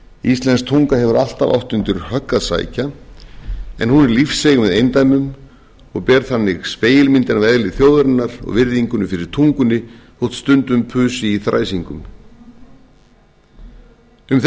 íslensk tunga hefur alltaf átt undir högg að sækja en hún er lífseig með eindæmum og ber þannig spegilmyndina af eðli þjóðarinnar og virðingu fyrir tungunni þótt stundum pusi í þræsingum um þessar mundir á